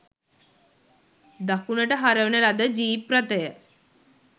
දකුණට හරවන ලද ජීප් රථය